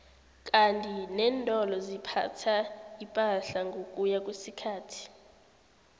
kandi nentolo ziphatha ipahla ngokuya kwesikhathi